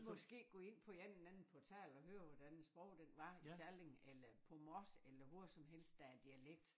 Måske gå ind på en eller anden portal og høre hvordan æ sprog den var i Salling eller på Mors eller hvor som helst der er dialekt